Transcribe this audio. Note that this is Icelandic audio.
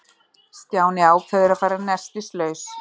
Stjáni ákvað að fara nestislaus.